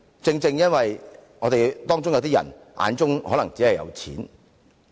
正正因為有些人的眼中可能只有錢。